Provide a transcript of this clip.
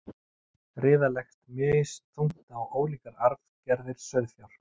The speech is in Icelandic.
riða leggst misþungt á ólíkar arfgerðir sauðfjár